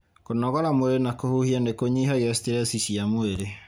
Kũnogora mwĩrĩ na kũhuhia nĩ kũnyihagia stress cia mwĩrĩ.